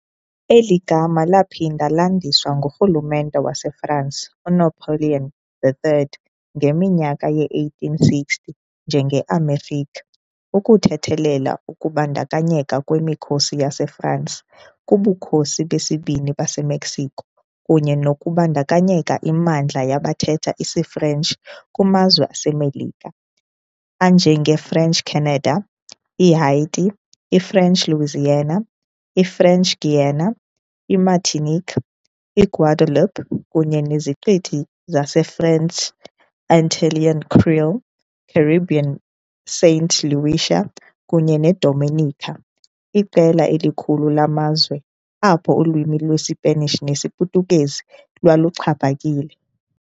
Eli gama laphinda landiswa ngurhulumente waseFransi uNapoleon III ngeminyaka yee-1860 njengeAmérique ukuthethelela ukubandakanyeka kwemikhosi yaseFransi kuBukhosi beSibini baseMexico kunye nokubandakanya imimandla yabathetha isiFrentshi kumazwe aseMelika anjengeFrench Canada, iHaiti, iFrench Louisiana, iFrench Guiana, iMartinique, iGuadeloupe kunye neziqithi zaseFrench Antillean Creole Caribbean iSaint Lucia, kunye neDominica, iqela elikhulu lamazwe apho ulwimi lweSpanish nesiPhuthukezi lwaluxhaphakile.